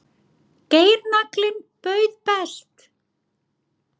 Geirnaglinn bauð best